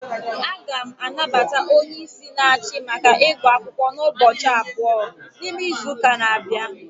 A ga m anabata onyeisi n'achi maka igu akwukwo n'ubochi about, n'ime izuuka n'abia